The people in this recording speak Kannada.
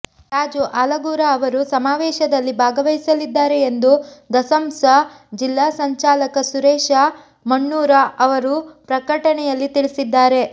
ರಾಜು ಆಲಗೂರ ಅವರು ಸಮಾವೇಶದಲ್ಲಿ ಭಾಗವಹಿಸಲಿದ್ದಾರೆ ಎಂದು ದಸಂಸ ಜಿಲ್ಲಾ ಸಂಚಾಲಕ ಸುರೇಶ ಮಣ್ಣೂರ ಅವರು ಪ್ರಕಟಣೆಯಲ್ಲಿ ತಿಳಿಸಿದ್ದಾರೆ